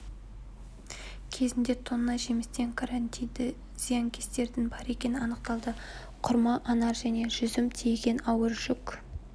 кезінде тонна жемістен карантинді зиянкестердің бар екені анықталды құрма анар және жүзім тиеген ауыр жүк